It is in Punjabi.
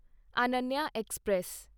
ਅਨਨਿਆ ਐਕਸਪ੍ਰੈਸ